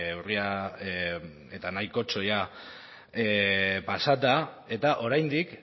urria eta nahikotxo pasata eta oraindik